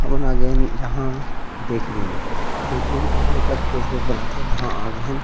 हमन आ गे हन यहाँ बेकरी में बेकरी के मतलब केक वेक बनाथे वहाँ आ गे हन।